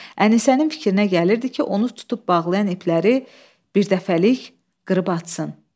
Ənisənin fikrinə gəlirdi ki, onu tutub bağlayan ipləri birdəfəlik qırıb açsın.